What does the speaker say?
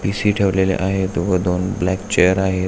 PC. ठेवलेले आहेत व दोन ब्लॅक चेअर आहेत.